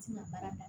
Ti na baara kɛ